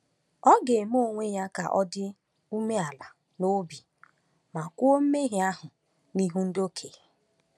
Ọ ga-eme onwe ya ka ọ dị umeala n’obi ma kwuo mmehie ahụ n’ihu ndị okenye.